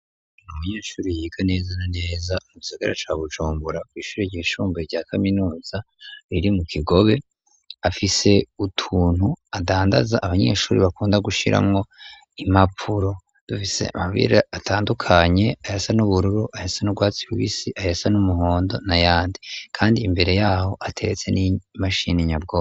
Niumunyeshuri yiga nezana neza musagara ca bujumbura kwishurira igishumboye rya kaminuza riri mu kigobe afise utuntu adandaza abanyeshuri bakunda gushiramwo imapuro dufise amabira atandukanye aya sa n'ubururu ayasa n'urwatsi w'isi ayasa n'umuhondo na yandi, kandi imbere yaho ateretse n'imashininyabwo.